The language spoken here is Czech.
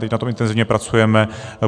Teď na tom intenzivně pracujeme.